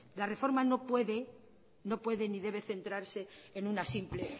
la reforma no puede ni debe centrarse en una simple